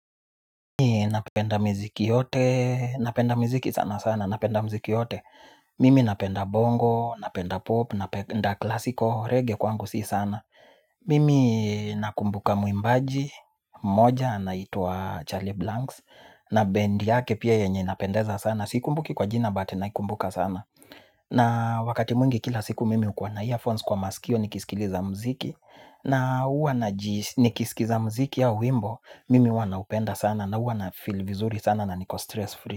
Napenda miziki yote, napenda miziki sana sana, napenda miziki yote. Mimi napenda bongo, napenda pop, napenda classical, reggae kwangu si sana. Mimi nakumbuka mwimbaji, mmoja anaitwa Charlie Blanks. Na bend yake pia yenye inapendeza sana, siiku mbuki kwa jina but naikumbuka sana na wakati mwingi kila siku mimi hukua na earphones kwa masikio nikisikiliza muziki. Na huwa na nikisikiza muziki ya wimbo mimi huwana upenda sana na huwa na feel vizuri sana na niko stress free.